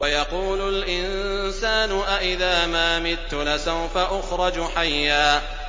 وَيَقُولُ الْإِنسَانُ أَإِذَا مَا مِتُّ لَسَوْفَ أُخْرَجُ حَيًّا